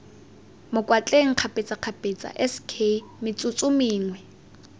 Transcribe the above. mokwatleng kgapetsakgapetsa sk metsotso mengwe